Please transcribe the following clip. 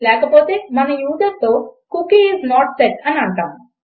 లేక పోతే మనము యూజర్తో కుకీ ఐఎస్ నోట్ సెట్ అంటాము